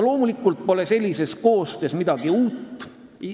Loomulikult pole sellises koostöös midagi uut.